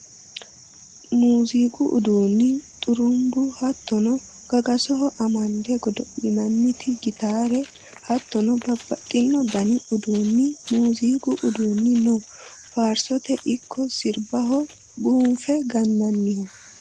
Muziiqu uduuni xurubbu hattono gagasoho amande godo'linanniti gitare hattonno babbaxxino dani uduuni muziiqu uduuni no faarsote ikko sirbaho buunfe gananiho.